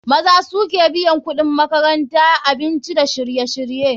Maza suke biyan kuɗin makaranta, kuɗin abinci dakayayaki da sauransu.